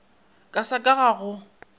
ka sa ka ga go